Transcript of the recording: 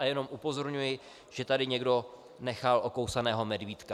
A jenom upozorňuji, že tady někdo nechal okousaného medvídka.